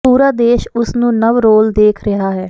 ਪੂਰਾ ਦੇਸ਼ ਉਸ ਨੂੰ ਨਵ ਰੋਲ ਦੇਖ ਰਿਹਾ ਹੈ